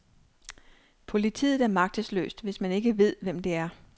Politiet er magtesløst, hvis man ikke ved, hvem det er.